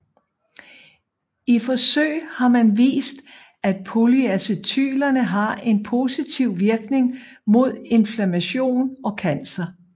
I forsøg har man vist at polyacetylener har en positiv virkning mod inflammation og cancer